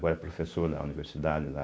Agora é professor da universidade lá,